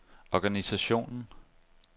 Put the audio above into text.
organisationen